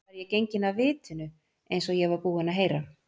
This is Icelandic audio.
Var ég genginn af vitinu eins og ég var búinn að heyra?